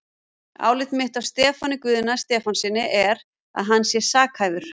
Álit mitt á Stefáni Guðna Stefánssyni er, að hann sé sakhæfur.